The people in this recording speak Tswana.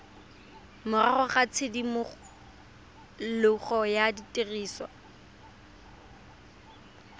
morago ga tshimologo ya tiriso